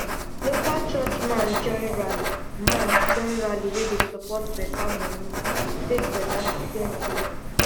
local church man join rally man join rally wey de support better money to take better student mind